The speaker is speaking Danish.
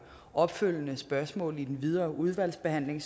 opfølgende spørgsmål i den videre udvalgsbehandling